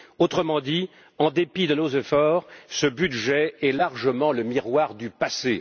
autrement dit, en dépit de nos efforts, ce budget est largement le miroir du passé.